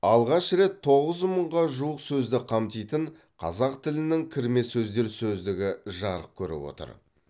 алғаш рет тоғыз мыңға жуық сөзді қамтитын қазақ тілінің кірме сөздер сөздігі жарық көріп отыр